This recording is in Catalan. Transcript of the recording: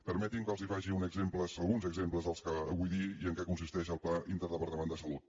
permetin·me que els faci alguns exemples del que vull dir i en què consisteix el pla interdepartamental de sa·lut